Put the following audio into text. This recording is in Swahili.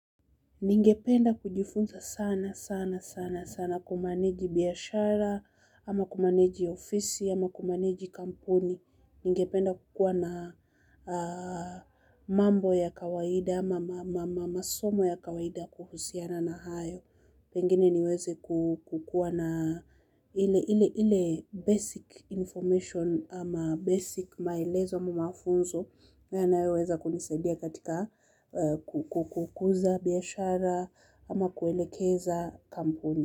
Ningependa kujifunza sana, sana, sana, sana kumaneji biashara, ama kumaneji ofisi, ama kumaneji kampuni. Ningependa kukua na mambo ya kawaida, ama masomo ya kawaida kuhusiana na hayo. Pengine niweze kukuwa na ile ile ile basic information ama basic maelezo ama mafunzo. Ndo yanayoweza kunisadia katika kukuza biashara ama kuelekeza kampuni.